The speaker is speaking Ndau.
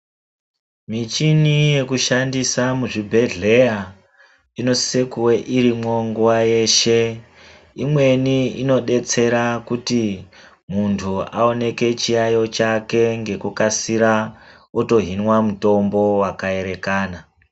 Michini yeku shandisa mu zvibhedhleya ino sise kuve irimwo nguva yeshe imweni ino detsera kuti muntu aoneke chiyayo chake ngeku kasira oto hinwa mutombo waka erekana.